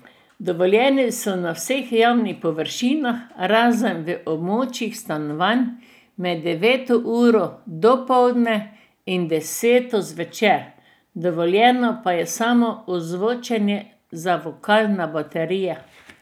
Dovoljeni so na vseh javnih površinah, razen v območjih stanovanj, med deveto uro dopoldne in deseto zvečer, dovoljeno pa je samo ozvočenje za vokal na baterije.